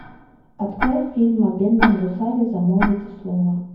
открой фильм о бедном гусаре замолвите слово